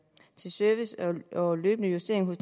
service og løbende justering